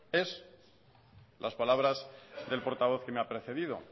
son las palabras del portavoz que me ha precedido